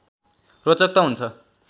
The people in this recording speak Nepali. रोचक त हुन्छ